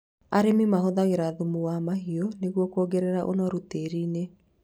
Arĩmi mahuthagĩra thumu wa mahiũ nĩguo kuongerera ũnoru tĩĩri-inĩ